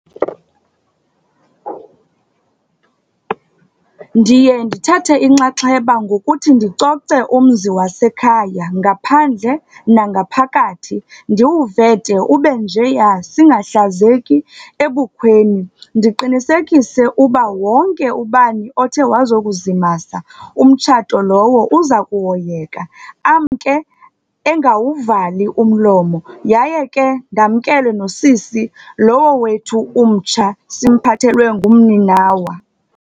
Ndiye ndithathe inxaxheba ngokuthi ndicoce umzi wasekhaya ngaphandle nangaphakathi, ndiwuvete ube njeya, singahlazeki ebukhweni. Ndiqinisekise uba wonke ubani othe wazokuzimasa umtshato lowo uza kuhoyeka, amke engawuvali umlomo. Yaye ke, ndamkele nosisi lowo wethu umtsha simphathelwe ngumninawa.